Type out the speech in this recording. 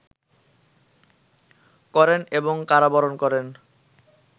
করেন এবং কারাবরণ করেন